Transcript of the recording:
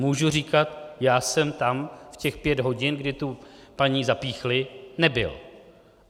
Můžu říkat: já jsem tam v těch pět hodin, kdy tu paní zapíchli, nebyl.